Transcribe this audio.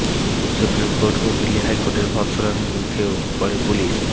supreme court ও দিল্লি হাইকোর্টের ভর্ৎসনার মুখেও পরে পুলিশ